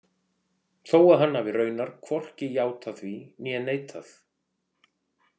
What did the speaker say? Þó að hann hafi raunar hvorki játað því né neitað.